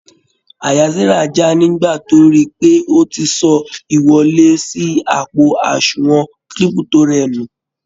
Àyà Sara já nígbà tó ríi pé o ti sọ ìwọlé sí àpo àsùnwòn Kírípútò rẹ nù.